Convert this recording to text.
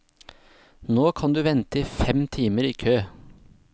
Nå kan du vente fem timer i kø.